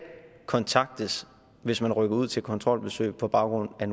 kontaktes hvis man rykker ud til kontrolbesøg på baggrund af